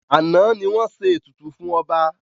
Àná ni wọ́n ṣe ètùtù fún ọba